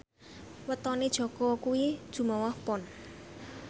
wetone Jaka kuwi Jumuwah Pon